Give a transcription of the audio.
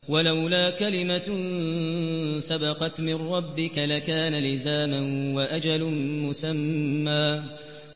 وَلَوْلَا كَلِمَةٌ سَبَقَتْ مِن رَّبِّكَ لَكَانَ لِزَامًا وَأَجَلٌ مُّسَمًّى